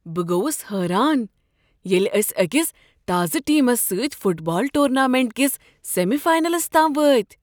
بہٕ گووس حیران ییٚلہ أسۍ أکس تازٕ ٹیمس سۭتۍ فٹ بال ٹورنامنٹ کس سیمی فاینلس تام وٲتۍ۔